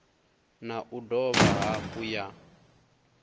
na u dovha hafhu ya